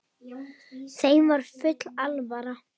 Þeim var full alvara.